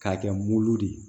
K'a kɛ mugu de ye